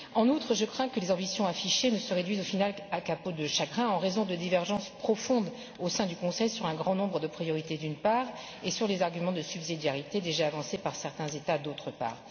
En outre, je crains que les ambitions affichées ne se réduisent au final comme une peau de chagrin en raison de divergences profondes au sein du Conseil sur un grand nombre de priorités, d'une part et sur les arguments de subsidiarité déjà avancés par certains États, d'autre part.